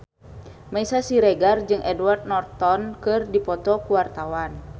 Meisya Siregar jeung Edward Norton keur dipoto ku wartawan